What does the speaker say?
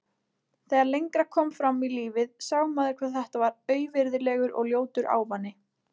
Þegar lengra kom fram í lífið sá maður hvað þetta var auvirðilegur og ljótur ávani.